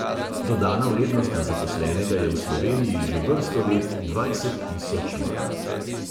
Dodana vrednost na zaposlenega je v sloveniji že vrsto let dvajset tisoč mark.